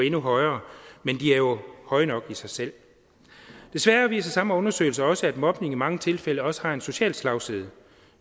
endnu højere men de er jo høje nok i sig selv desværre viser samme undersøgelse også at mobning i mange tilfælde også har en social slagside